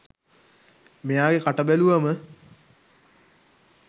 මෙයාගෙ කට බැලුවම